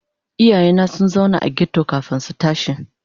Iyayena sun zauna a ghetto kafin su tashi.